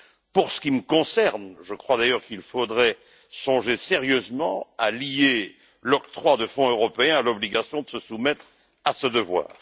Pour ce qui me concerne, je crois d'ailleurs qu'il faudrait songer sérieusement à lier l'octroi de fonds européens à l'obligation de se soumettre à ce devoir.